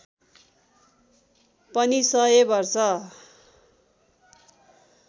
पनि सय वर्ष